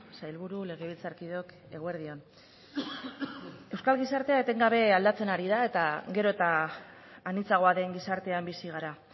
sailburu legebiltzarkideok eguerdi on euskal gizartea etengabe aldatzen ari da eta gero eta anitzagoa den gizartean bizi gara